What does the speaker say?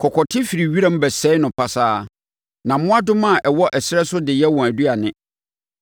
Kɔkɔte firi wiram bɛsɛe no pasaa na mmoadoma a ɛwɔ ɛserɛ so de yɛ wɔn aduane.